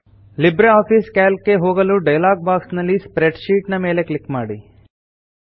Libre office Calc ಗೆ ಹೋಗಲು dialog box ನಲ್ಲಿ ಸ್ಪ್ರೆಡ್ಶೀಟ್ ಮೇಲೆ ಕ್ಲಿಕ್ ಮಾಡಿ